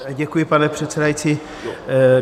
Děkuji, pane předsedající.